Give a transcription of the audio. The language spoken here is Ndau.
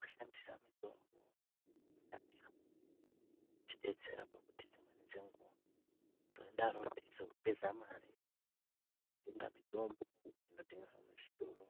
Kushandisa mitombo yekudhaya inotidetsera pakuti dzimweni dzenguwa tinodaro teizopedza mare kutenga mitombo inotengeswa muzvitoro